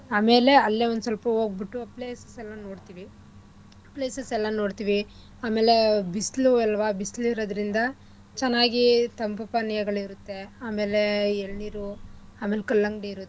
ಆಮೇಲೆ ಅಲ್ಲೇ ಒಂದ್ಸ್ವಲ್ಪ ಹೋಗ್ಬುಟ್ಟು places ಎಲ್ಲಾ ನೋಡ್ತಿವಿ places ಎಲ್ಲಾ ನೋಡ್ತಿವಿ ಆಮೇಲೆ ಬಿಸ್ಲು ಅಲ್ವಾ ಬಿಸ್ಲಿರದ್ರಿಂದ ಚೆನ್ನಾಗಿ ತಂಪು ಪಾನೀಯಗಳ್ ಇರತ್ತೆ ಅಮೇಲೆ ಎಲ್ನೀರು ಆಮೇಲ್ ಕಲ್ಲಂಗಡಿ ಇರುತ್ತೆ.